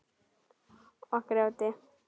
Og grjóti.